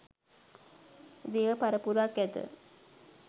දේව පරපුරක් ඇත